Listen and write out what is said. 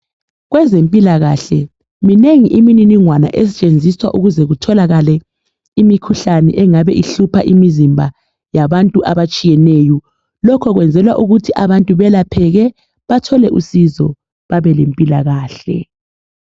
Kwezempilakahle minengi iminingwana esetshenziswa ukuze kutholakale imikhuhlane engabe ihlupha imizimba yabantu abatshiyeneyo lokhu kwenzelwa ukuthi abantu belapheke bathole usizo